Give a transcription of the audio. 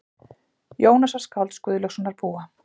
Jónasar skálds Guðlaugssonar búa.